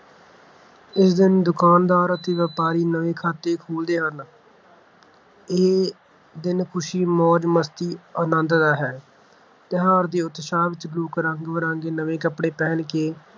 ਇਸ ਦਿਨ ਦੁਕਾਨਦਾਰ ਅਤੇ ਵਪਾਰੀ ਨਵੇਂ ਖਾਤੇ ਖੋਲ੍ਹਦੇ ਹਨ ਇਹ ਦਿਨ ਖੁਸ਼ੀ, ਮੌਜ-ਮਸਤੀ ਅਨੰਦ ਦਾ ਹੈ। ਤਿਉਹਾਰ ਦੇ ਉਤਸ਼ਾਹ ਵਿੱਚ ਲੋਕ ਰੰਗ-ਬਿਰੰਗੇ ਨਵੇਂ ਕੱਪੜੇ ਪਹਿਨ ਕੇ